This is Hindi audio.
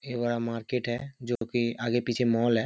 ए वाला मार्किट है जो की आगे पीछे मॉल है।